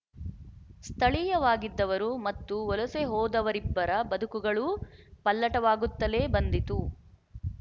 ಸ್ಥಳೀಯವಾಗಿದ್ದವರು ಮತ್ತು ವಲಸೆ ಹೋದವರಿಬ್ಬರ ಬದುಕುಗಳೂ ಪಲ್ಲಟವಾಗುತ್ತಲೇ ಬಂದಿತು